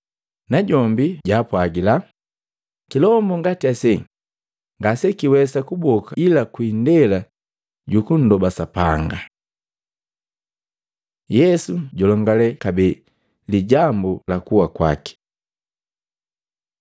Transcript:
Najombi jaapwagila, “Kilombu ngati ase ngasekiwesa kuboka ila kwi indela jukundoba Sapanga.” Yesu julongale kabee lijambu la kuwa kwaki Matei 17:22-23; Luka 9:43b-45